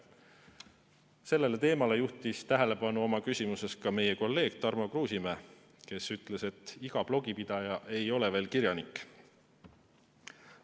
Sellele teemale juhtis oma küsimuses tähelepanu ka meie kolleeg Tarmo Kruusimäe, kes ütles, et iga blogipidaja ei ole veel kirjanik.